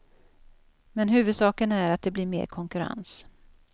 Men huvudsaken är att det blir mer konkurrens.